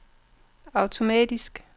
automatisk